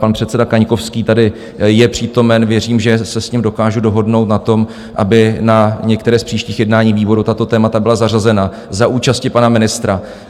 Pan předseda Kaňkovský tady je přítomen, věřím, že se s ním dokážu dohodnout na tom, aby na některé z příštích jednání výboru tato témata byla zařazena za účasti pana ministra.